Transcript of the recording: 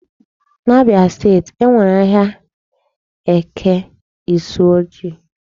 N'Abia state e nwere ahịa Eke Isuochi.